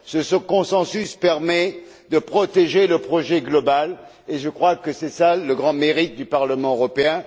Ce consensus permet de protéger le projet global et je crois que là est le grand mérite du Parlement européen.